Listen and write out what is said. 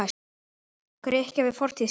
Grikkja við fortíð sína.